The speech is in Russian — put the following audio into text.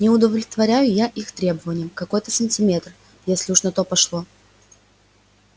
не удовлетворяю их требованиям какой-то сантиметр если уж на то пошло